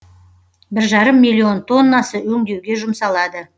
бір жарым миллион тоннасы өңдеуге жұмсалады